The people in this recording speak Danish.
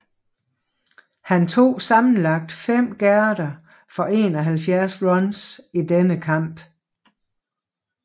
Han tog sammenlagt 5 gærder for 71 runs i denne kamp